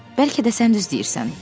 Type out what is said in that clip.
Bəlkə də sən düz deyirsən.